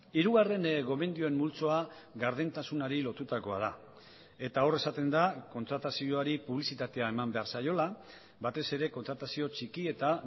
hirugarren gomendioen multzoa gardentasunari lotutakoa da eta hor esaten da kontratazioari publizitatea eman behar zaiola batez ere kontratazio txiki eta